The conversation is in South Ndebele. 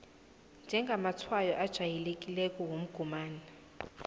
njengamatshwayo ajayelekileko womgomani